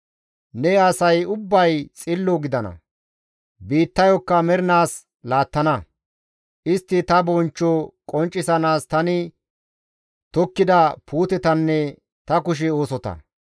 Ne asay ubbay xillo gidana; biittayokka mernaas laattana; istti ta bonchcho qonccisanaas tani tokkida puutetanne ta kushe oosota.